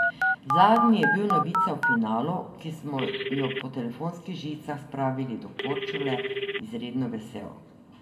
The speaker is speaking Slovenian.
Zadnji je bil novice o finalu, ki smo jo po telefonskih žicah spravili do Korčule, izredno vesel.